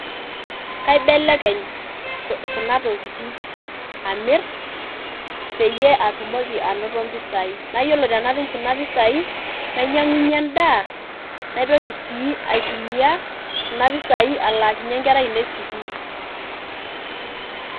Keibelekenya kuna tokitin amir peyie atumoki anoto impisai, yiolo tenatum kuna pisai nanyiankunyie endaa naitoki sii aitumiya kuna pisai alaakinyie inkera ainei sukuul.